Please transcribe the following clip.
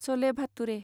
सले भातुरे